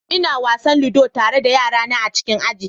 Ina wasan ludo tare da yarana a cikin aji.